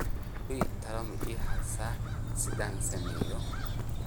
olly talo ma ii haysaa sidaan sameeyo